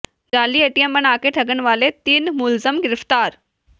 ਜਾਅਲੀ ਏਟੀਐੱਮ ਬਣਾ ਕੇ ਠੱਗਣ ਵਾਲੇ ਤਿੰਨ ਮੁਲਜ਼ਮ ਗਿ੍ਫ਼ਤਾਰ